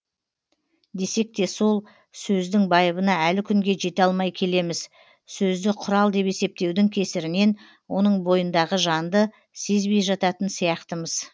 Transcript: десек те сол сөздің байыбына әлі күнге жете алмай келеміз сөзді құрал деп есептеудің кесірінен оның бойындағы жанды сезбей жататын сияқтымыз